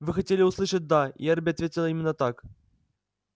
вы хотели услышать да и эрби ответил именно так